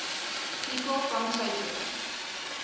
people from tokyo